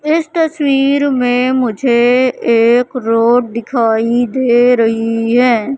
इस तस्वीर मे मुझे एक रोड दिखाई दे रही है।